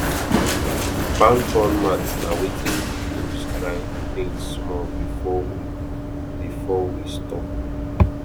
palm frond mat na wetin we dey use dry things small before we before we store